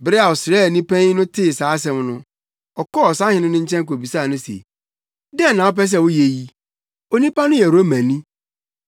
Bere a ɔsraani panyin no tee saa asɛm no, ɔkɔɔ ɔsahene no nkyɛn kobisaa no se, “Dɛn na wopɛ sɛ woyɛ yi? Onipa no yɛ Romani!”